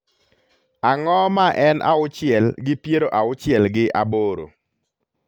Ang�o ma en auchiel gi piero auchiel gi aboro?